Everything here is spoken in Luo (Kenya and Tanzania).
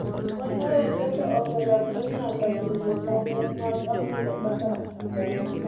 kony mar mpesa oselandre nyaka pinje moko mag africa kaka tanzania